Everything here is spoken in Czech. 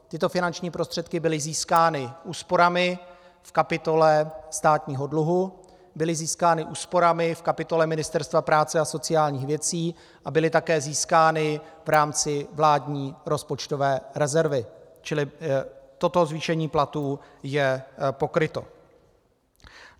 Tyto finanční prostředky byly získány úsporami v kapitole státního dluhu, byly získány úsporami v kapitole Ministerstva práce a sociálních věcí a byly také získány v rámci vládní rozpočtové rezervy, čili toto zvýšení platů je pokryto.